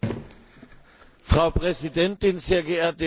Frau Präsidentin, sehr geehrte Lady Ashton!